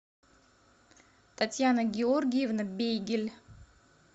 татьяна георгиевна бегель